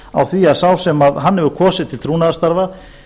á því að sá sem hann hefur kosið til trúnaðarstarfa